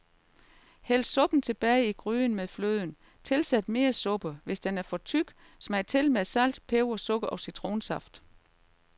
Hæld suppen tilbage i gryden med fløden, tilsæt mere suppe, hvis den er for tyk, smag til med salt, peber sukker og citronsaft.